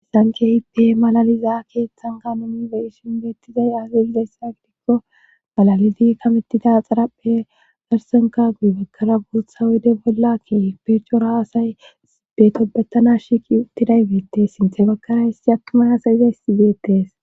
Sankehipe malaliza keeththan kaanomi be ishin beettizay azalizayssa gidikko malalidi kamettida xaraphe darsenka guy bakkara buotha woyde bollakke percora asay betobetana shiiqi uttiday beette sinthe bakkarayissi attumay asayizayssi geettees.